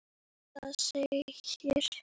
Það segir